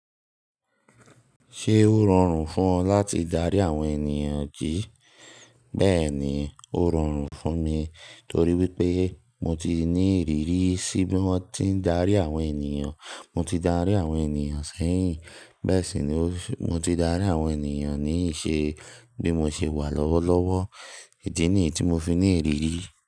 Ṣé ó rọrùn fún ọ láti darí àwọn ènìyàn jí? Bẹ́ẹ̀ni, ó rọrùn fún mi torí wípé mo ti ní ìrírí sí bí wón ti ń darí àwọn ènìyàn. Mo ti darí àwọn ènìyàn sẹ́yìn. Bẹ́ẹ̀ sì ni mo ti darí àwọn ènìyàn ní ìṣe bí mo ṣe wà lọ́wọ́lọ́wọ́. Idí nìyí tí mo fi ní ìrírí.